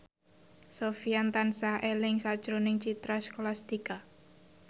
Sofyan tansah eling sakjroning Citra Scholastika